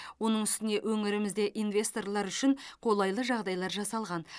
оның үстіне өңірімізде инвесторлар үшін қолайлы жағдайлар жасалған